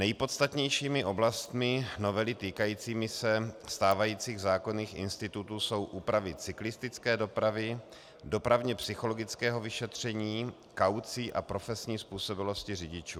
Nejpodstatnějšími oblastmi novely týkajícími se stávajících zákonných institutů jsou úpravy cyklistické dopravy, dopravně-psychologického vyšetření, kaucí a profesní způsobilosti řidičů.